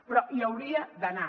però hi hauria d’anar